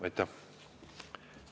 Aitäh!